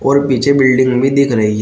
और पीछे बिल्डिंग भी दिख रही है।